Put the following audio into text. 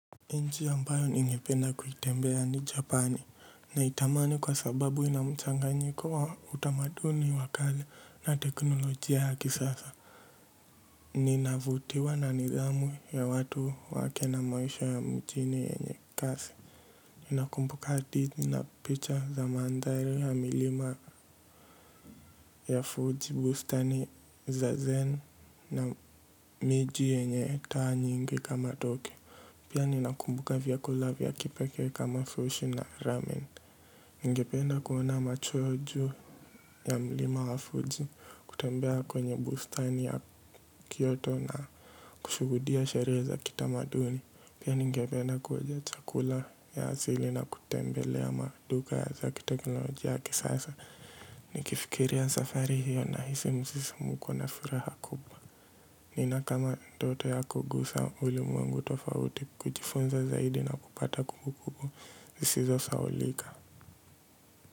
Nchi ambayo ningependa kutembea ni Japani, naitamani kwa sababu ina mchanganyiko wa utamaduni wa kazi na teknolojia ya kisasa. Ninavutiwa na nidhamu ya watu wake na maisha ya mjini yenye kasi. Ninakumbuka hadithi na picha za mandhari ya milima ya Fuji, bustani za zen na miji yenye taa nyingi kama Tokyo. Pia ninakumbuka vya kula vya kipekee kama sushi na ramen ningependa kuona macho juu ya mlima wa Fuji. Kutembea kwenye bustani ya Kyoto na kushuhudia sherehe za kitamaduni. Pia ningependa kuonja chakula ya asili na kutembelea maduka za kiteknolojia ya kisasa. Nikifikiria safari hiyo na hisi msisimko na furaha kubwa nina kama ndoto ya kugusa ulimwengu tofauti, kujifunza zaidi na kupata kumbukumbu zisizo sahaulika.